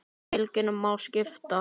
Fylkinu má skipta í þrennt.